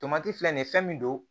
Tomati filɛ nin fɛn min don